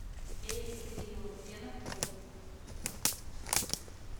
эль рио где находится